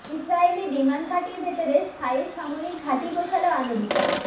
ইসরাইলি বিমান ঘাঁটির ভেতরে স্থায়ী সামরিক ঘাঁটি বসাল আমেরিকা